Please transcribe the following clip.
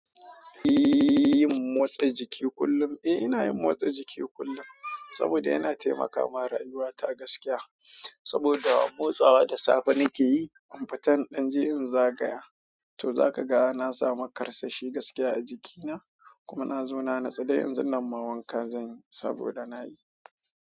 Eh yin motsa jiki kullum. Eh ina yin motsa jiki kullum saboda yana taimaka ma rayuwata gaskiya. Saboda motsawa da safe nake yi fitan in je in zagaya. To za kaga na samu karsashi gaskiya a jiki na kuma nazo na natsu de yanzu nan ma wanka zan yi saboda na yi.